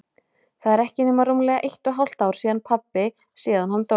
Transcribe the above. Það er ekki nema rúmlega eitt og hálft ár síðan pabbi- síðan hann dó.